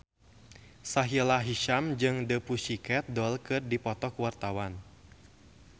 Sahila Hisyam jeung The Pussycat Dolls keur dipoto ku wartawan